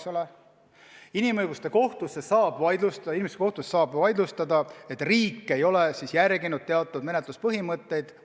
Euroopa Inimõiguste Kohtus saab asju vaidlustada, kui riik ei ole kohtus järginud teatud menetluspõhimõtteid.